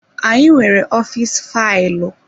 Anyị nwere ọfịs faịlụ.